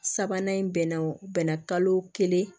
Sabanan in bɛnna o bɛnna kalo kelen